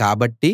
కాబట్టి